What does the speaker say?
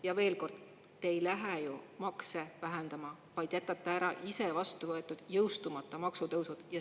Ja veel kord: te ei lähe ju makse vähendama, vaid jätate ära iseenda vastu võetud, jõustumata maksutõusud.